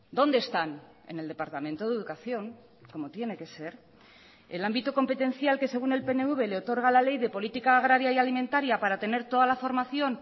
dónde están en el departamento de educación como tiene que ser el ámbito competencial que según el pnv le otorga la ley de política agraria y alimentaria para tener toda la formación